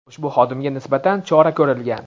ushbu xodimga nisbatan chora ko‘rilgan.